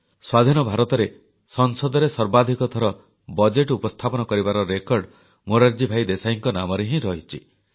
ସ୍ୱାଧୀନ ଭାରତରେ ସଂସଦରେ ସର୍ବାଧିକ ଥର ବଜେଟ ଉପସ୍ଥାପନ କରିବାର ରେକର୍ଡ ମୋରାରଜୀ ଭାଇ ଦେଶାଇଙ୍କ ନାମରେ ହିଁ ରହିଛି